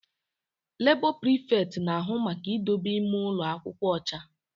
Labọ prịfekt na-ahụ maka idobe ime ụlọ akwụkwọ ọcha